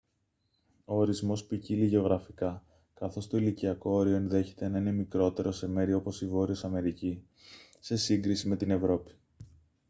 ο ορισμός ποικίλει γεωγραφικά καθώς το ηλικιακό όριο ενδέχεται να είναι μικρότερο σε μέρη όπως η βόρειος αμερική σε σύγκριση με την ευρώπη